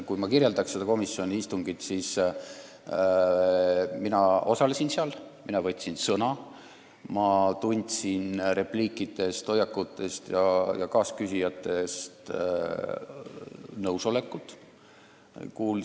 Kui kirjeldada seda komisjoni istungit, siis ma osalesin seal, ma võtsin sõna ning ma tundsin kaasküsijate repliikidest ja hoiakutest nõusolekut.